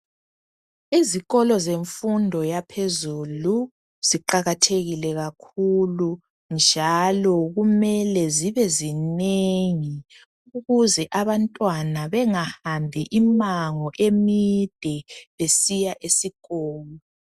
Izikolo semfundo yaphezulu ziqakathekile kakhulu njalo kumele zibe zinengi ukuze abantwana bengahambi imango emide besiya esikolo